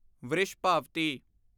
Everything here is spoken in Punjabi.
ਵ੍ਰਿਸ਼ਭਾਵਤੀ